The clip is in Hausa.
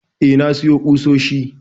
eh, na siyo kusoshi